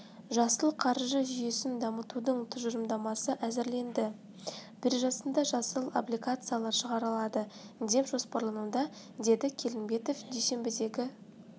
жасыл қаржы жүйесін дамытудың тұжырымдамасы әзірленді биржасында жасыл облигациялар шығарылады деп жоспарлануда деді келімбетов дүйсенбідегі